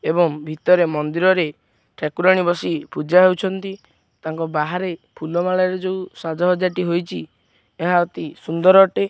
ଏବଂ ଭିତରେ ମନ୍ଦିରରେ ଠାକୁରାଣୀ ବସି ପୂଜା ହଉଛନ୍ତି ତାଙ୍କ ବାହାରେ ଫୁଲ ମାଳରେ ଯୋଉ ସାଜ ସଜାଟି ହୋଇଚି ଏହା ଅତି ସୁନ୍ଦର ଅଟେ।